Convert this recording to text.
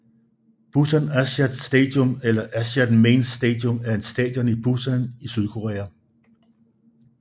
Busan Asiad Stadium eller Asiad Main Stadium er et stadion i Busan i Sydkorea